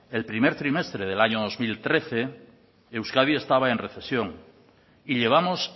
el primer trimestre del año dos mil trece euskadi estaba en recesión y llevamos